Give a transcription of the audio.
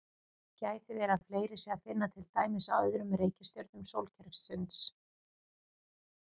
Gæti verið að fleiri sé að finna til dæmis á öðrum reikistjörnum sólkerfisins?